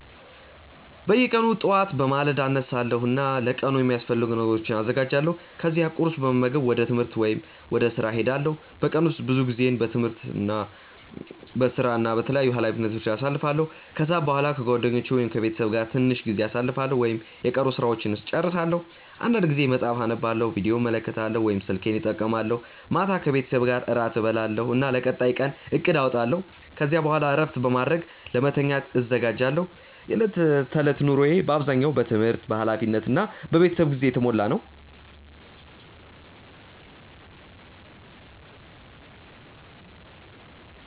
በየቀኑ ጠዋት በማለዳ እነሳለሁ እና ለቀኑ የሚያስፈልጉ ነገሮችን አዘጋጃለሁ። ከዚያ ቁርስ በመመገብ ወደ ትምህርት ወይም ወደ ሥራ እሄዳለሁ። በቀን ውስጥ ብዙ ጊዜዬን በትምህርት፣ በሥራ እና በተለያዩ ኃላፊነቶች ላይ አሳልፋለሁ። ከሰዓት በኋላ ከጓደኞቼ ወይም ከቤተሰቤ ጋር ትንሽ ጊዜ አሳልፋለሁ ወይም የቀሩ ሥራዎችን እጨርሳለሁ። አንዳንድ ጊዜ መጽሐፍ አነባለሁ፣ ቪዲዮ እመለከታለሁ ወይም ስልኬን እጠቀማለሁ። ማታ ከቤተሰቤ ጋር እራት እበላለሁ እና ለቀጣዩ ቀን እቅድ አወጣለሁ። ከዚያ በኋላ እረፍት በማድረግ ለመተኛት እዘጋጃለሁ። የዕለት ተዕለት ኑሮዬ በአብዛኛው በትምህርት፣ በኃላፊነት እና በቤተሰብ ጊዜ የተሞላ ነው።